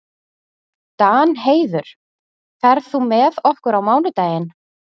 Danheiður, ferð þú með okkur á mánudaginn?